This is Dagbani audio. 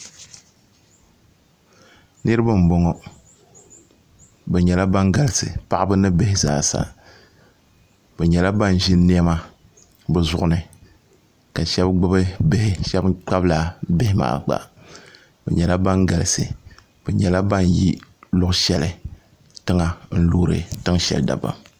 niraba n boŋo bi nyɛla ban galisi paɣaba ni bihi zaasa bi nyɛla ban ʒi niɛma bi zuɣu ni ka shab gbubi bihi shab kpabila bihi maa gba bi nyɛla ban galisi bi nyɛla ban yi tiŋ shɛli n loori tiŋ shɛli dabam